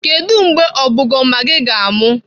Kedu mgbe ọbọgụma gị ga-amụ?